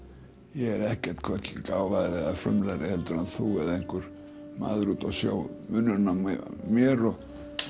ég er ekkert hvorki gáfaðri eða frumlegri en þú eða einhver maður úti á sjó munurinn á mér og